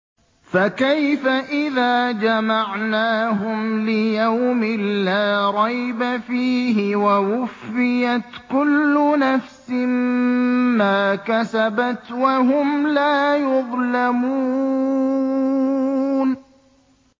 فَكَيْفَ إِذَا جَمَعْنَاهُمْ لِيَوْمٍ لَّا رَيْبَ فِيهِ وَوُفِّيَتْ كُلُّ نَفْسٍ مَّا كَسَبَتْ وَهُمْ لَا يُظْلَمُونَ